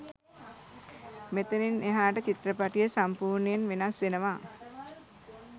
මෙතනින් එහාට චිත්‍රපටිය සම්පූර්ණයෙන් වෙනස් වෙනවා.